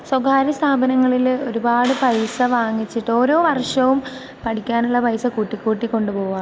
സ്വകാര്യ സ്ഥാപനങ്ങളില് ഒരുപാട് പൈസ വാങ്ങിച്ചിട്ട്... ഓരോ വർഷവും പഠിക്കാനുള്ള പൈസ കൂട്ടിക്കൂട്ടി കൊണ്ടുപോകുവാ.